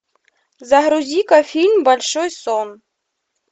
загрузи ка фильм большой сон